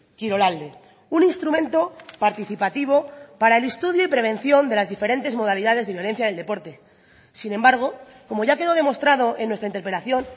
kirolalde un instrumento participativo para el estudio y prevención de las diferentes modalidades de violencia del deporte sin embargo como ya quedó demostrado en nuestra interpelación